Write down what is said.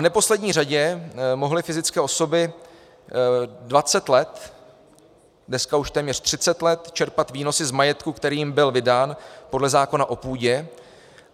V neposlední řadě mohly fyzické osoby 20 let, dneska už téměř 30 let čerpat výnosy z majetku, který jim byl vydán podle zákona o půdě.